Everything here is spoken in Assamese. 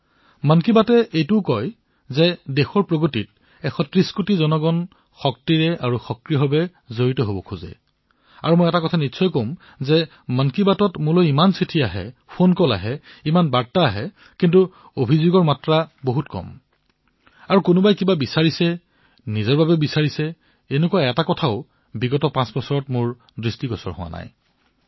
মন কী বাতে এয়াও কয় যে দেশৰ উন্নতিত সমগ্ৰ ১৩০ কোটি দেশবাসী শক্তিশালী আৰু সক্ৰিয়তাৰে জড়িত হব বিচাৰে আৰু মই এটা কথা নিশ্চয়কৈ কম যে মন কী বাতলৈ ইমান চিঠি আহে ইমান টেলিফোন কল আহে ইমান বাৰ্তা আহে কিন্তু তাত অভিযোগ কম আৰু কিছুমানে নিজৰ বাবে কিবা বিচৰাটো যোৱা পাঁচ বছৰত এবাৰো প্ৰত্যক্ষ নকৰিলো